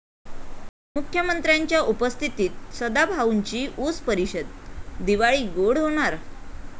मुख्यमंत्र्यांच्या उपस्थितीत सदाभाऊंची ऊस परिषद, दिवाळी गोड होणार?